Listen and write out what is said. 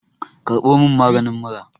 karbo min magani mura!